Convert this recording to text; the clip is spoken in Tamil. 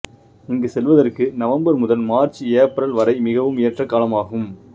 இங்கு செல்வதற்கு நவம்பர் முதல் மார்ச் ஏப்ரல் வரை மிகவும் ஏற்ற காலமாகும்